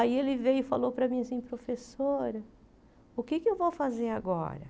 Aí ele veio e falou para mim assim, professora, o que é que eu vou fazer agora?